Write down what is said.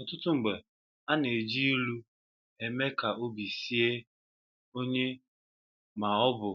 Ọtụtụ mgbe, ana-eji ịlụ eme ka obi sie onye maọbụ